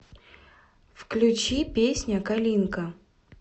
включи песня калинка